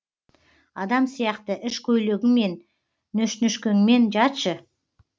адам сияқты іш көйлегіңмен нөшнішкәңмен жатшы